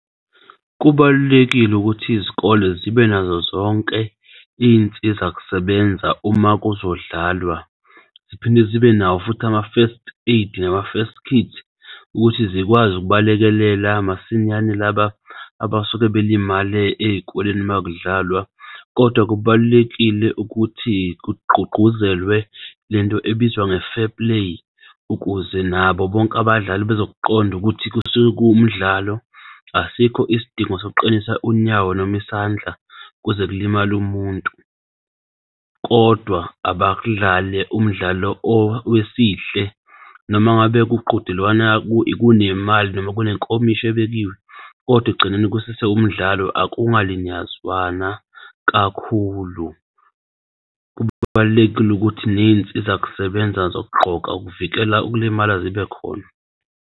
Kubalulekile ukuthi izikole zibe nazo zonke iy'nsizakusebenza uma kuzodlalwa ziphinde zibe nawo futhi ama-first aid nama-first kit ukuthi zikwazi ukubalekelela masinyane laba abasuke balimale ey'koleni makudlalwa kodwa kubalulekile ukuthi kugqugquzelwe lento ebizwa nge-fair play ukuze nabo bonke abadlali bazok'qondukuthi kusuke kumdlalo asikho isidingo sokuqinisa unyawo noma isandla kuze kulimale umuntu, kodwa abadlale umdlalo owesihle nomangabe kuqhudelwana kunemali, noma kunenkomishi ebekiwe kodwa ekugcineni kusese umdlalo akungalinyazwana kakhulu. Kubalulekile ukuthi ney'nsizakusebenza zokugqoka ukuvikela ukulimala zibekhona.